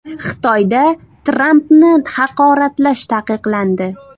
Xitoyda Trampni haqoratlash taqiqlandi.